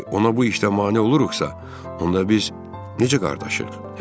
Odur ki, ona bu işdə mane oluruxsa, onda biz necə qardaşıq?